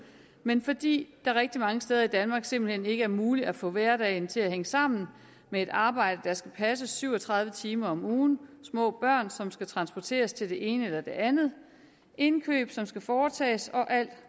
men fordi det rigtig mange steder i danmark simpelt hen ikke er muligt at få hverdagen til at hænge sammen med et arbejde der skal passes syv og tredive timer om ugen små børn som skal transporteres til det ene eller det andet indkøb som skal foretages og alt